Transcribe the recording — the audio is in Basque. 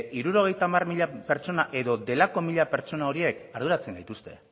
hirurogeita hamar mila pertsona edo delako mila pertsona horiek arduratzen gaituzte